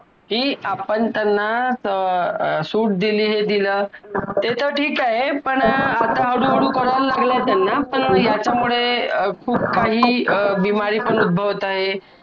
कि आपण त्यांना अं सूट दिली हे दिल ते तर ठीक आहे पण आता हळू हळू कळायला लागलाय त्यांना पण याच्या मुडे खूप काही बिमारी पण उद्भवत आहे